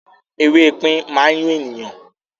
“ewé ipín” má n yún ènìyàn.